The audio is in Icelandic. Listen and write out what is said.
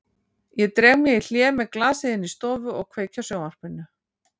Ég dreg mig í hlé með glasið inn í stofu og kveiki á sjónvarpinu.